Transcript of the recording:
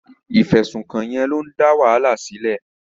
Ìfẹ̀sùnkàn yẹn ló ń dá wàhálà sílẹ̀.